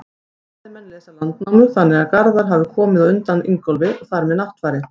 Fræðimenn lesa Landnámu þannig að Garðar hafi komið á undan Ingólfi og þar með Náttfari.